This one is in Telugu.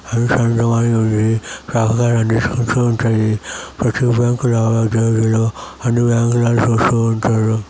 రెండు పెద్ద బండ్లు ఉన్నాయి. కార్యక్రమలన్నీ జరుగుతూ ఉంటాయి. ప్రతి బ్యాంక్ లావాదేవీలు అన్నీ బ్యాంక్ లోని చూస్తూ ఉంటారు.